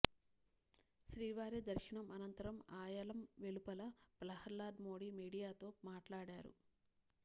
శ్రీవారి దర్శనం అనంతరం ఆయలం వెలుపల ప్రహ్లాద్ మోడీ మీడియాతో మాట్లాడారు